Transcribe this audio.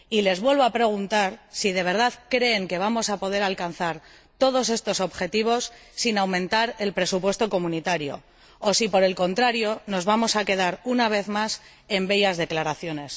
Y les vuelvo a preguntar si de verdad creen que vamos a poder alcanzar todos estos objetivos sin aumentar el presupuesto comunitario o si, por el contrario, nos vamos a quedar una vez más en bellas declaraciones.